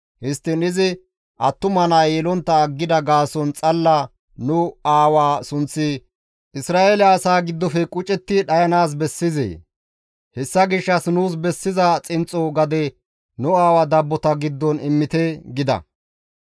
Histtiin izi attuma naa yelontta aggida gaason xalla nu aawa sunththi Isra7eele asaa giddofe qucetti dhayanaas bessizee? Hessa gishshas nuus bessiza xinxxo gade nu aawa dabbota giddon immite» gida.